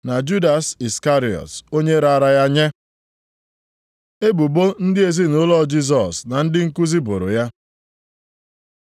na Judas Iskarịọt, onye raara ya nye. Ebubo ndị ezinaụlọ Jisọs na ndị nkuzi boro ya